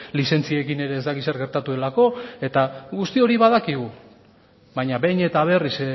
lizentziekin ere ez dakit zer gertatu delako eta guzti hori badakigu baina behin eta berriz